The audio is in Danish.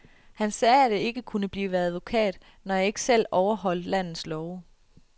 Han sagde, at jeg ikke kunne blive advokat, når jeg ikke selv overholdt landets love.